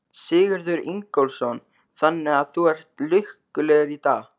Sigurður Ingólfsson: Þannig að þú ert lukkulegur í dag?